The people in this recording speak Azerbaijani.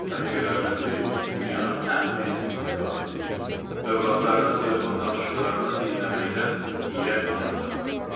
Rəfiqələrindən biri dünyanın ən prinsipsiz qadını deyir: övladlarının telefon danışıqlarını dinləməkdən iyrənməyən adam.